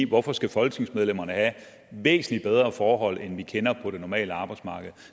hvorfor skal folketingsmedlemmerne have væsentlig bedre forhold end dem vi kender på det normale arbejdsmarked